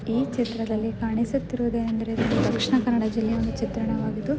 ಈ ಚಿತ್ರದಲ್ಲಿ ಕಾಣಿಸುತ್ತಿರುವುದು ಏನೆಂದರೆ ದಕ್ಷಿಣ ಕನ್ನಡ ಜಿಲ್ಲೆಯ ಒಂದು ಚಿತ್ರಣವಾಗಿದ್ದು--